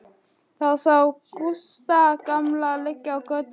Þau sjá Gústa gamla liggja í götunni.